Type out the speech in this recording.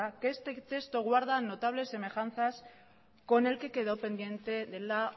que este texto guarda notables semejanzas con el que quedó pendiente de la